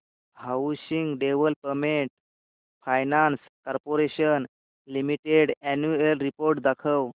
housing development finance corporation limited annual report दाखव